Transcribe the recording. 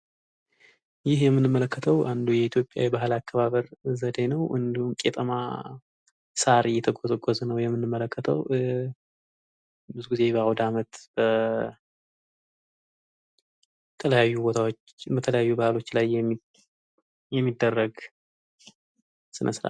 ይህ የምንመለከተዉ አንዱ የኢትዮጵያ የባህል አከባበር ዘዴ ነዉ። እንዲሁም ቄጤማ ሳር እየተጎዘጎዘ ነዉ የሚታየዉ ብዙ ጊዜ በዓዉደ ዓመት በተለያዩ ቦታዎች የሚደረግ ስነ- ስርዓት ነዉ።